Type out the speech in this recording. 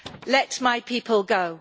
Let my people go.